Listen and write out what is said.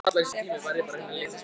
Stefán, er bolti á miðvikudaginn?